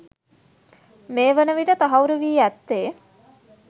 මේ වන විට තහවුරු වී ඇත්තේ